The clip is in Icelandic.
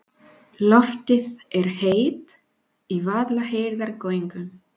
Loftið er heitt í Vaðlaheiðargöngum.